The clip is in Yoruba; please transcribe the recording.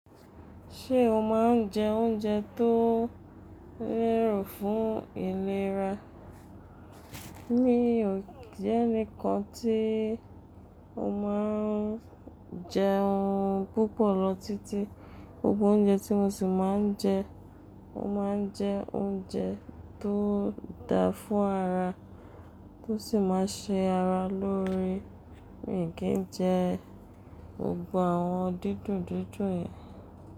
Ṣé o máa ń jẹ oúnjẹ tó lérò fún ìlera? Mi ò jẹ́ ẹnìkan tí ó máa ń jẹun púpọ̀ lọ títí. Gbogbo oúnjẹ tí mo sì máa ń jẹ, mo máa ń jẹ oúnjẹ tó da fún ara, tó sì máa ṣe ara lóore. Mi kì í jẹ gbogbo àwọn dídùn dídùn yẹn.